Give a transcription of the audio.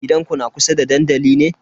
Gidanku na kusa da dandali ne?